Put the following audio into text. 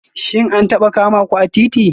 Shin an taba kama ku a titi?